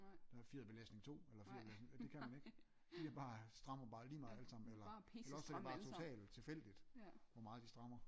Der er fjederbelastning to eller fjederbelastning det kan man ik de er bare de strammer bare lige meget alle sammen eller også er det bare totalt tilfældigt hvor meget de strammer